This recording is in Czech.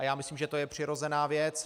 A já myslím, že to je přirozená věc.